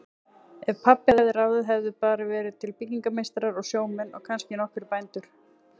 Ef pabbi hefði ráðið hefðu bara verið til byggingameistarar og sjómenn og kannski nokkrir bændur.